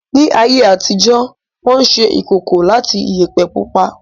Ní ayé àtijó, Wọ́n ṣe ìkòkò láti Iyẹ̀pẹ̀ pupa